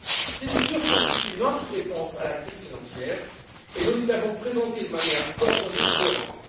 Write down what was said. Ces mesures constituent notre réponse à la crise financière, et nous les avons présentées de manière coordonnée et cohérente.